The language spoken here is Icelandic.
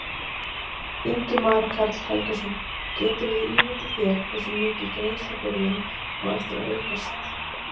Ingimar Karl Helgason: Geturðu ímyndað þér hversu mikið greiðslubyrðin á eftir að aukast?